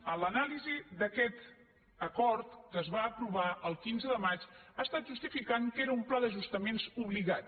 en l’anàlisi d’aquest acord que es va aprovar el quinze de maig ha estat justificant que era un pla d’ajustaments obligat